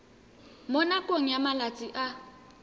mo nakong ya malatsi a